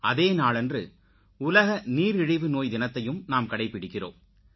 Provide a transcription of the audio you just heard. அதே நாளன்று உலக நீரிழிவு நோய் தினத்தையும் நாம் கடைப்பிடிக்கிறோம்